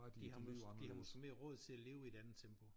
De har de har måske mere råd til at leve i et andet tempo